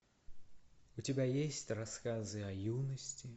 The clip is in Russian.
у тебя есть рассказы о юности